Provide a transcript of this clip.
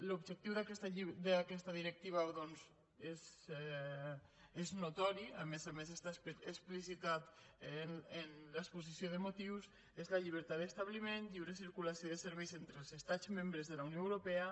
l’objectiu d’aquesta directiva és notori a més a més està explicitat en l’exposició de motius és la llibertat d’establiment la lliure circulació de serveis entre els estats membres de la unió europea